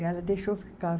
E ela deixou eu ficar.